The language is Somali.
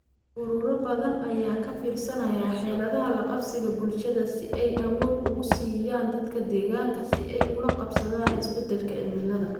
Ururo badan ayaa ka fiirsanaya xeeladaha la qabsiga bulshada si ay awood ugu siiyaan dadka deegaanka si ay ula qabsadaan isbedelka cimilada.